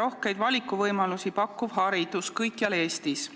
rohkeid valikuvõimalusi pakkuv haridus kõikjal Eestis.